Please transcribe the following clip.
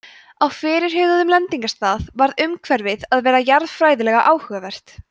á fyrirhuguðum lendingarstað varð umhverfið að vera jarðfræðilega áhugavert